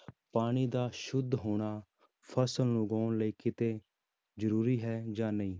ਪਾਣੀ ਦਾ ਸੁੱਧ ਹੋਣਾ, ਫ਼ਸਲ ਨੂੰ ਉਗਾਉਣ ਲਈ ਕਿਤੇ ਜ਼ਰੂਰੀ ਹੈ ਜਾਂ ਨਹੀਂ।